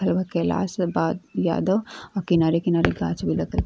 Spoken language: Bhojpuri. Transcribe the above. कैलाश बा यादव आ किनारे- किनारे कांच भी लगल --